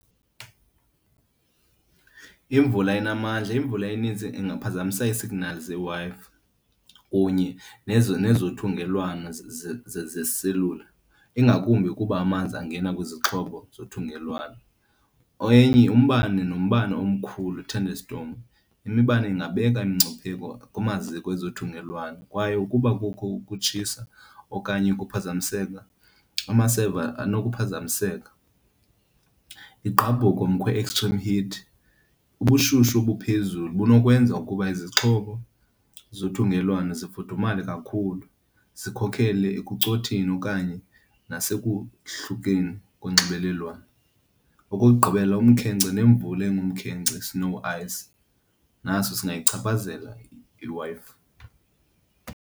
Imvula enamandla, imvula eninzi ingaphazamisa iisignali zeeWi-Fi kunye nezo nezothungelwano zeselula, ingakumbi ukuba amanzi angena kwizixhobo zothungelwano. Enye umbane, nombane omkhulu i-thunderstorm. Imibane ingabeka imingcipheko kumaziko ezothungelwano kwaye ukuba kukho ukutshisa okanye ukuphazamiseka, amasebe anokuphazamiseka. Igqabhuko , extreme heat, ubushushu obuphezulu bunokwenza ukuba izixhobo zothungelwano zifudumale kakhulu zikhokhele ekucotheni okanye nasekuhlukeni konxibelelwano. Okokugqibela, umkhenkce nemvula engumkhenkce, snow ice, naso singayichaphazela iWi-Fi.